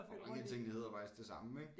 Og mange af tingene hedder jo faktisk det samme ik